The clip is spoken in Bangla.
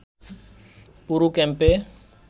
পুরো ক্যাম্পে